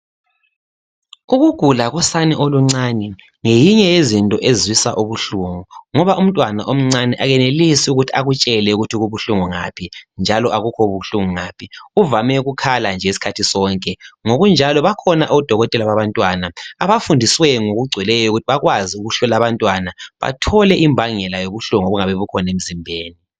Ukugula kosani oluncane ngeyinye yezinto ezwisa ubuhlungu ngoba umntwana omncane akenelisi ukuthi akutshele ukuthi kubuhlungu ngaphi njalo akukho buhlungu ngaphi uvame ukukhala nje isikhathi sonke ngokunjalo bakhona odokotela babantwana abafundiswe ngokugcweleyo ukuthi bakwazi ukuhlola abantwana bathole imbangela yobuhlungu obungabe bukhona emzimbeni.